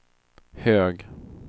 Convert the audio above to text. hög